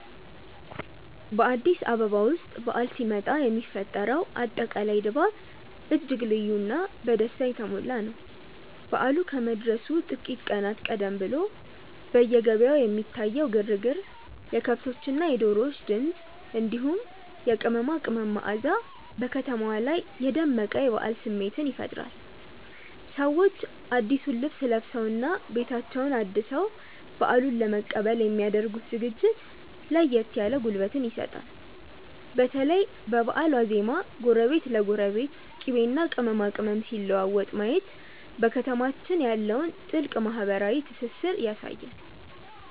በአዲስ አበባ ውስጥ በዓል ሲመጣ የሚፈጠረው አጠቃላይ ድባብ እጅግ ልዩና በደስታ የተሞላ ነው። በዓሉ ከመድረሱ ጥቂት ቀናት ቀደም ብሎ በየገበያው የሚታየው ግርግር፣ የከብቶችና የዶሮዎች ድምፅ፣ እንዲሁም የቅመማ ቅመም መዓዛ በከተማዋ ላይ የደመቀ የበዓል ስሜት ይፈጥራል። ሰዎች አዲሱን ልብስ ለብሰውና ቤታቸውን አድሰው በዓሉን ለመቀበል የሚ ያደርጉት ዝግጅት ለየት ያለ ጉልበት ይሰጣል። በተለይ በበዓል ዋዜማ ጎረቤት ለጎረቤት ቅቤና ቅመማ ቅመም ሲለዋወጥ ማየት በከተማችን ያለውን ጥልቅ ማህበራዊ ትስስር ያሳያል።